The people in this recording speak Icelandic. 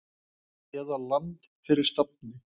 eða Land fyrir stafni.